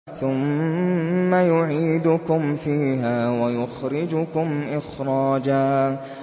ثُمَّ يُعِيدُكُمْ فِيهَا وَيُخْرِجُكُمْ إِخْرَاجًا